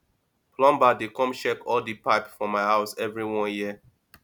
plumber dey come check all di pipe for my house every one year